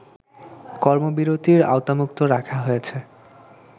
কর্মবিরতির আওতামুক্ত রাখা হয়েছে